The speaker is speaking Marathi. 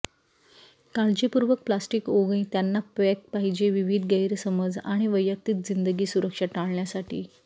काळजीपूर्वक प्लास्टिक ओघ त्यांना पॅक पाहिजे विविध गैरसमज आणि वैयक्तिक जिंदगी सुरक्षा टाळण्यासाठी